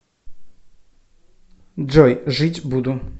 джой жить буду